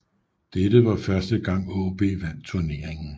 Dette var første gang AaB vandt turneringen